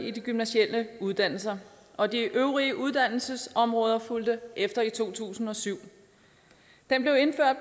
i de gymnasiale uddannelser og de øvrige uddannelsesområder fulgte efter i to tusind og syv den blev